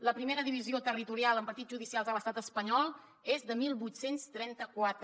la primera divisió territorial amb partits judicials a l’estat espanyol és de divuit trenta quatre